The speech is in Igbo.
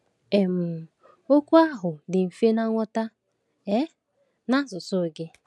um Ọ̀ okwu ahụ dị mfe nghọta um n’asụsụ gị?